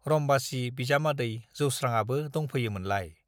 रम्बासी बिजामादै जौस्रांआबो दंफैयोमोनलाय ।